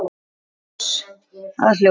Ljós að hljóði?